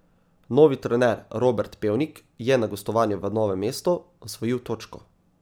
Novi trener Robert Pevnik je na gostovanju v Novem mestu osvojil točko.